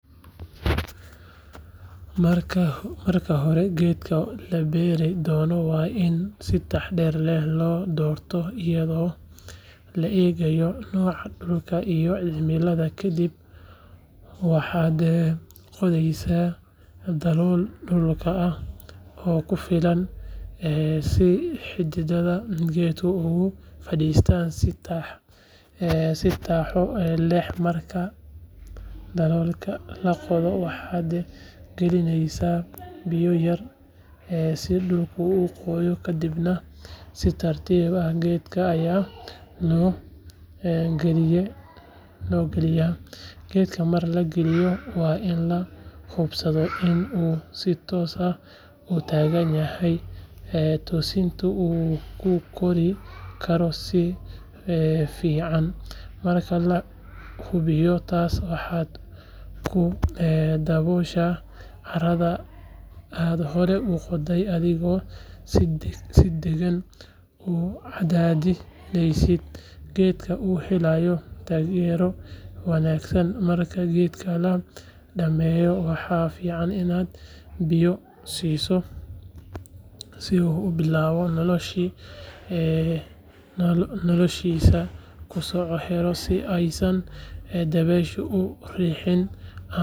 Marka hore, geedka la beeri doono waa in si taxaddar leh loo doortaa, iyadoo la eegayo dhulka iyo cimilada ku habboon geedkaas. Ka dib, waxaa la qodayaa dalool ku filan dhulka, si xididdada geedka ay si wanaagsan ugu fadhiyaan. Marka daloolka la qodo, waxaa la galinayaa biyo yar si dhulku u qoyaan, taas oo ka caawinaysa xididdada inay si sahlan ugu baxaan. Kadibna, si tartiib ah ayaa geedka loo gelinayaa daloolka, iyadoo la hubinayo inuu si toos ah u taagan yahay, si uu si fiican ugu koro jihada saxda ah. Marka la hubiyo in geedku si toos ah u taagan yahay, waxaa lagu daboolayaa carradii hore loo qoday, iyadoo si deggan loo cadaadinayo si geedku u helo taageero wanaagsan. Marka la dhammeeyo beerista, waxaa muhiim ah in la siiyo biyo ku filan si uu u bilaabo noloshiisa cusub, taasoo ka caawinaysa in dabayshu aysan u riixin ama u dhaawicin.